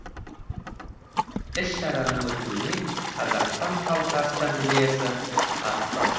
іс шараның өтуіне қазақстан халқы ассамблеясы атсалысты